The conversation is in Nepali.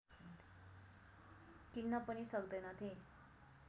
किन्न पनि सक्दैनथे